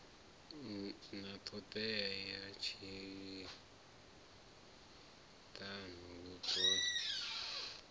na ṱhodea ya tshihaḓu ya